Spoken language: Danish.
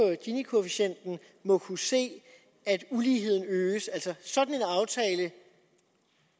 ginikoefficienten må kunne se at uligheden øges sådan